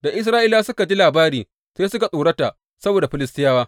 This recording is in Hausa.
Da Isra’ilawa suka ji labarin, sai suka tsorata saboda Filistiyawa.